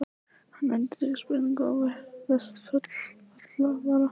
Hann endurtekur spurninguna og virðist full alvara.